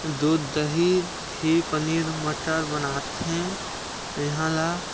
दूध दही घी पनीर मटर बनाथे इहा ला।